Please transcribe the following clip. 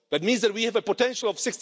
That means that we have a potential of